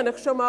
Ich habe Sie ja schon